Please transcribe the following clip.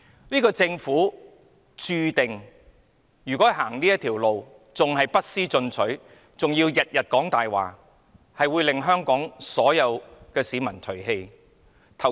如果政府要走這條路，繼續不思進取，還要每天說謊，注定會被香港所有市民唾棄。